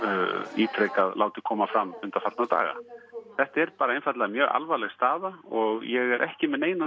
ítrekað látið koma fram undanfarna daga þetta er einfaldlega mjög alvarleg staða og ég er ekki með neinar